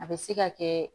A bɛ se ka kɛ